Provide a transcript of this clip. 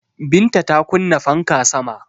Binta ta kunna fanka sama